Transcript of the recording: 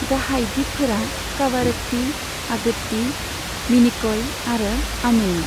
गाहाय दीपफोरा कावारत्ती, आगत्ती, मिनिकय आरो आमिनी।